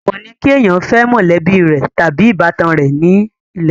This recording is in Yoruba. èwò ni kí èèyàn fẹ́ mọ̀lẹ́bí tàbí ìbátan rẹ̀ ní ilẹ̀ yorùbá